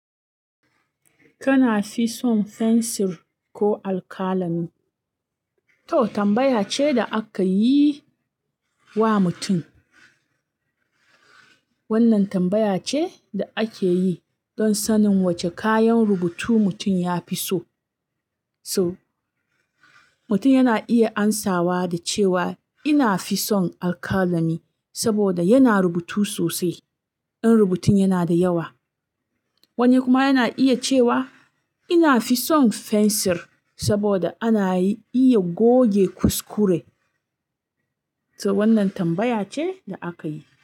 Kana fi son fensir ko alkalami? To tambaya ce da aka yi wa mutum. Wannan tambaya ce da ake yi don sanin wace kayan rubutu mutum ya fi so. So mutum yana iya amsawa da cewa ina fi son alkalami saboda yana rubutu sosai, ɗan rubutun yana da yawa. Wani kuma yana iya cewa ina fi son fensir saboda ana iya goge kuskure. To wannan tambaya ce da aka yi.